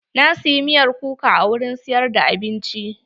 Na siyi miyar kuka a wurin siyar da abinci.